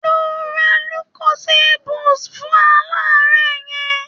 Lọ ra lucozade boost fún aláàárẹ̀ yẹñ.